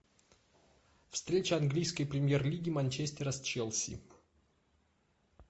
встреча английской премьер лиги манчестера с челси